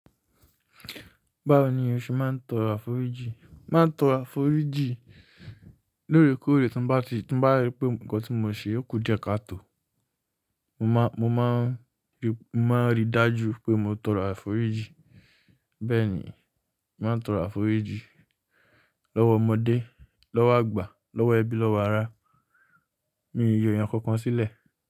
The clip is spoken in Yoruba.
Báwo ni o ṣe máa ń tọrọ àforíjì? Máa ń tọrọ àforíjì lóòrèkóòrè tí bá, ti ba ri pé nǹkan tí mo ṣe kù díẹ̀ káàtò. Mo máa ń rí i dájú pé mo tọrọ àforíjì. Bẹ́ẹ̀ ni, màá ń tọrọ àforíjì lọ́wọ́ ọmọdé, lọ́wọ́ àgbà, lọ́wọ́ ẹbí, lọ́wọ́ ará. Mi yọ èèyàn kankan sílẹ̀